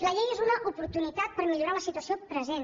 la llei és una oportunitat per millorar la situació present